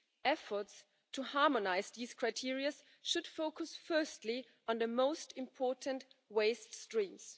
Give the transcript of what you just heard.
Efforts to harmonise these criteria should focus firstly on the most important waste streams.